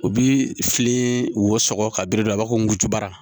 U bi fili wo sɔgɔ ka birin a b'a fɔ ko nujura